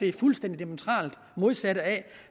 er fuldstændig diametralt modsat af